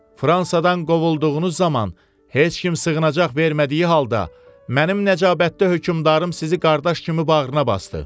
Fransadan qovulduğunuz zaman heç kim sığınacaq vermədiyi halda, mənim nəcabətli hökmdarım sizi qardaş kimi bağrına basdı.